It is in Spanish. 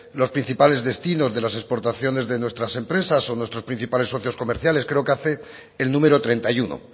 los principales destinos de las exportaciones de nuestras empresas o nuestros principales socios comerciales creo que hace el número treinta y uno